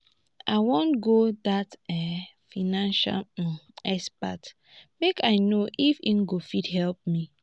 i wan go see dat um financial um expert make i no if he go fit help me